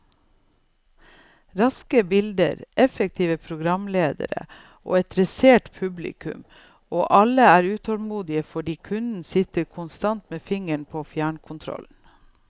Raske bilder, effektive programledere og et dressert studiopublikum, og alle er utålmodige fordi kunden sitter konstant med fingeren på fjernkontrollen.